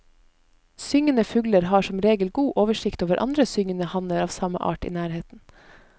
Syngende fugler har som regel god oversikt over andre syngende hanner av samme art i nærheten.